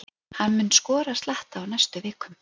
Hann mun skora slatta á næstu vikum.